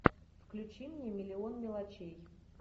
включи мне миллион мелочей